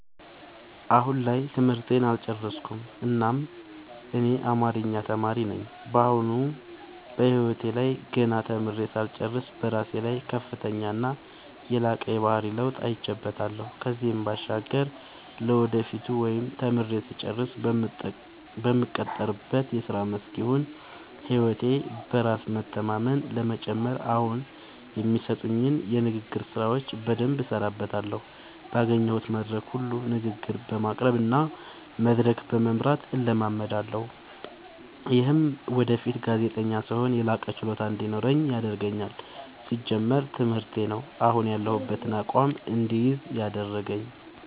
አሁን ላይ ትምህርቴን አልጨረስኩም እናም እኔ አማሪኛ ተማሪ ነኝ በአሁኑ በህይወቴ ላይ ገና ተምሬ ሳልጨርስ በራሴ ላይ ከፍተኛና የላቀ የባህሪ ለውጥ አይቼበታለው ከዚህም ባሻገር ለወደፊቱ ወይም ተምሬ ስጨርስ በምቀጠርበት የስራ መስክ ይሁን ህይወቴ በራስ በመተማመን ለመጨመር አሁኒ የሚሰጡኝን የንግግር ስራዎች በደምብ እሠራበታለሁ ባገኘሁት መድረክ ሁሉ ንግግር በማቅረብ እና መድረክ በመምራት እለማመዳለሁ። ይምህም ወደፊት ጋዜጠኛ ስሆን የላቀ ችሎታ እንዲኖረኝ ያደርገኛል። ሲጀመር ትምህርቴ ነው። አሁን ያሁበትን አቋም እድይዝ ያደረገኝ።